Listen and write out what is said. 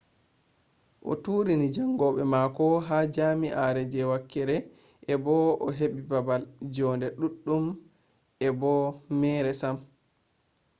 o turini jaangoɓe mako ha jam'iare je wakere e bo'o o heɓɓi baabal jonde ɗuɗɗum e bo'o meere sam